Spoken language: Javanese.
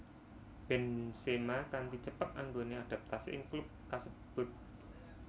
Benzema kanti cepet anggone adaptasi ing klub kasebut